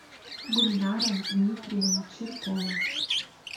гульнара дмитриевна чиркова